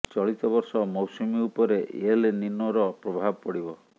ଚଳିତ ବର୍ଷ ମୌସୁମୀ ଉପରେ ଏଲ୍ ନିନୋର ପ୍ରଭାବ ପଡ଼ିବ